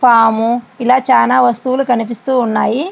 పాము ఇలా చాలా వస్తువులు కనిపిస్తూ ఉన్నాయి.